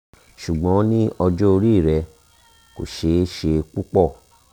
ṣùgbọ́n ní ọjọ́ orí rẹ kò ṣe é ṣe púpọ̀